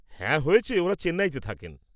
হ্যাঁ হয়েছে, ওঁরা চেন্নাইতে থাকেন।